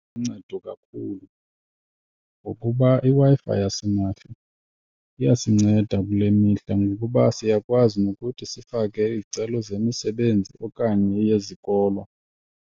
Iluncedo kakhulu ngokuba iWi-Fi yasimahla iyasinceda kule mihla, ngokuba siyakwazi nokuthi sifake izicelo zemisebenzi okanye eyezikolo.